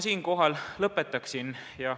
Siinkohal ma lõpetaksin.